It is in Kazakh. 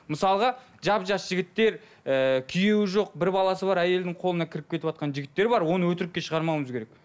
мысалға жап жас жігіттер ііі күйеуі жоқ бір баласы бар әйелдің қолына кіріп кетіватқан жігіттер бар оны өтірікке шығармауымыз керек